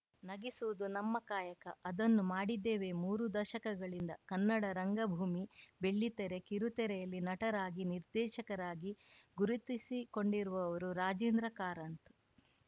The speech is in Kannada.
ನಗಿಸುವುದು ನಮ್ಮ ಕಾಯಕ ಅದನ್ನು ಮಾಡಿದ್ದೇವೆ ಮೂರು ದಶಕಗಳಿಂದ ಕನ್ನಡ ರಂಗಭೂಮಿ ಬೆಳ್ಳಿತೆರೆ ಕಿರುತೆರೆಯಲ್ಲಿ ನಟರಾಗಿ ನಿರ್ದೇಶಕರಾಗಿ ಗುರುತಿಸಿಕೊಂಡಿರುವವರು ರಾಜೇಂದ್ರ ಕಾರಂತ್‌